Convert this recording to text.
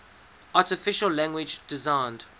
artificial language designed